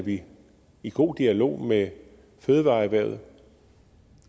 vi i god dialog med fødevareerhvervet